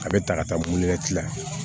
A bɛ ta ka taa la